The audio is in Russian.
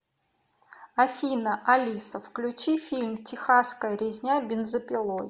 афина алиса включи фильм техасская резня бензопилой